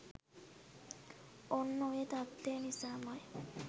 ඔන්න ඔය තත්ත්වය නිසාම යි